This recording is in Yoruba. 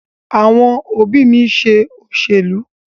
Àwọn òbí mi ń ṣe òṣèlú.